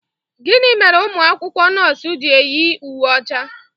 Gịnị mere ụmụ akwụkwọ nọọsụ ji eyi uwe ọcha?